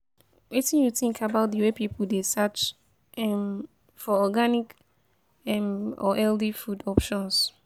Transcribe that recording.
Wetin you think about di way people dey search um for organic um or healthy food options?